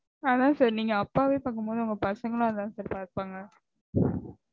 அதா sir நீங்க அப்பாவே பாக்கும்போது உங்க பசங்களும் அதா sir பாப்பாங்க